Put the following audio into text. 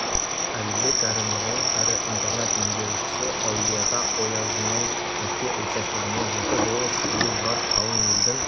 әліпбек әрі мұғалім әрі интернат меңгерушісі әулие-ата оязының мерке участогінде жеті болыс ел бар қалың елдің